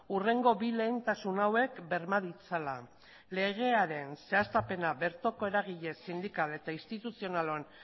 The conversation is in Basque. hurrengo bi lehentasun hauek berma ditzala legearen zehaztapena bertoko eragile sindikal eta instituzionalen